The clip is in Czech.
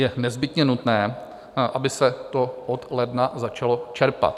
Je nezbytně nutné, aby se to od ledna začalo čerpat.